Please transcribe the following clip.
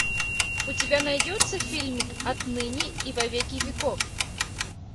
у тебя найдется фильмик отныне и во веки веков